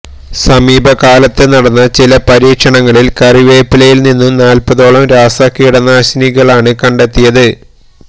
സമീപകാലത്ത് നടന്ന ചില പരീക്ഷണങ്ങളിൽ കറിവേപ്പിലയിൽ നിന്നും നാൽപ്പതോളം രാസകീടനാശിനികളാണ് കണ്ടെത്തിയത്